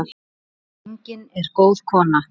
Gengin er góð kona.